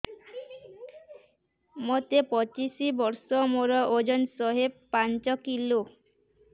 ମୋତେ ପଚିଶି ବର୍ଷ ମୋର ଓଜନ ଶହେ ପାଞ୍ଚ କିଲୋ